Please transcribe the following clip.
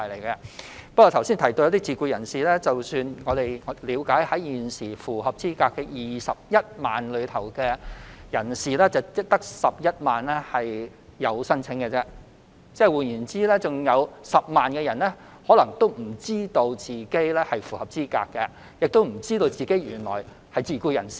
剛才提到自僱人士，根據我們了解，在現時符合資格的21萬人當中，只有11萬人提出申請，換言之，還有10萬人可能不知道他們符合資格，也不知道他們原來是自僱人士。